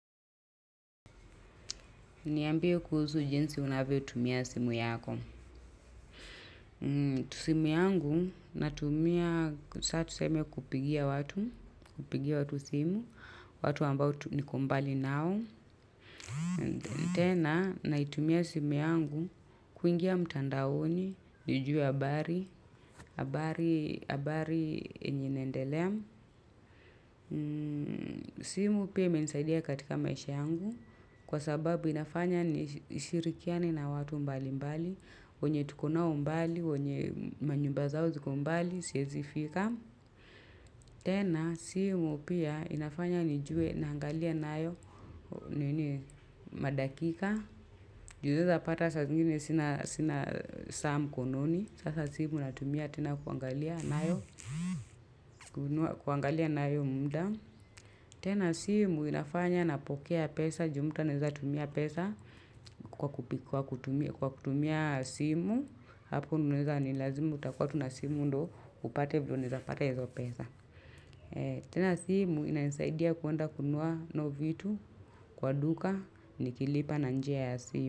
Niambie kuhusu jinsi unavyotumia simu yako. Simu yangu, natumia, sa tuseme kupigia watu, kupigia watu simu, watu ambao niko mbali nao. Tena, naitumia simu yangu kuingia mtandaoni, nijuwe habari, habari, habari yenye inaendelea. Simu pia imenisaidia katika maisha yangu kwa sababu inafanya nishirikiane na watu mbalimbali wenye tuko nao mbali, wenye manyumba zao ziko mbali, siwezi fika tena, simu pia inafanya nijue, naangalia nayo madakika Ju unaeza pata saa zingine sina saa mkononi. Sasa simu natumia tena kuangalia nayo kuangalia nayo muda tena simu inafanya napokea pesa, ju mtu anaeza tumia pesa kwa kutumia simu, hapo unaweza ni lazima utakuwa tu na simu ndio upate vile unaweza pata hizo pesa. Tena simu inanisaidia kuenda kununua nao vitu kwa duka nikilipa na njia ya simu.